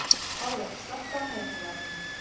Tolli, slökktu á niðurteljaranum.